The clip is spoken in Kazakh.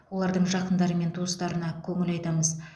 олардың жақындары мен туыстарына көңіл айтамыз